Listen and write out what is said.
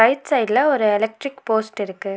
Right சைட்ல ஒரு electric post இருக்கு.